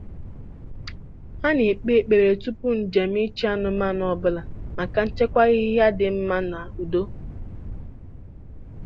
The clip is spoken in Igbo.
Ha na-ekpe ekpere tupu njem ịchị anụmanụ ọbụla maka nchekwa, ahịhịa dị mma, na udo.